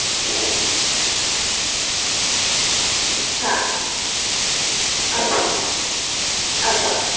হ্যাঁ আচ্ছা আচ্ছা